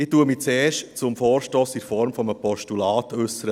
Ich äussere mich zuerst zum Vorstoss in der Form eines Postulats;